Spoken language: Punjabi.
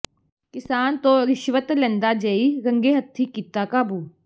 ਕਿਸਾਨ ਤੋਂ ਰਿਸ਼ਵਤ ਲੈਂਦਾ ਜੇਈ ਰੰਗੇ ਹੱਥੀਂ ਕੀਤਾ ਕਾਬੂ